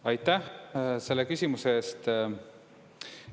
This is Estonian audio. Aitäh selle küsimuse eest!